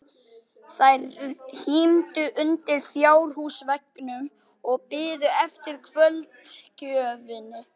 Þær hímdu undir fjárhúsveggnum og biðu eftir kvöldgjöfinni.